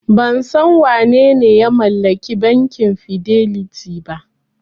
Ban san wanene ya mallaki bankin Fidelity ba.